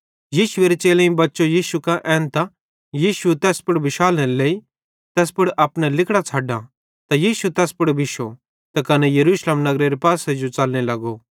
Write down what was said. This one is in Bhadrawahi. यीशुएरे चेलेईं बच्चो यीशु कां एन्तां यीशुए तैस पुड़ बिशालनेरे लेइ तैस पुड़ अपने लिगड़ां छ़ड्डो त यीशु तैस पुड़ बिश्शो त तैना यरूशलेम नगरेरे पासे जो च़लने लग्गे